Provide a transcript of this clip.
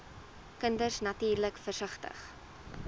kinders natuurlik versigtig